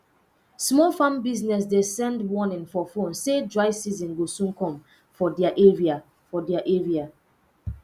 small farm business dey send warning for phone say dry season go soon come for dia area for dia area